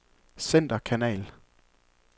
centerkanal